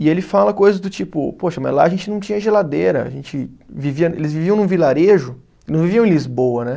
E ele fala coisas do tipo, poxa, mas lá a gente não tinha geladeira, a gente vivia, eles viviam num vilarejo, não viviam em Lisboa, né?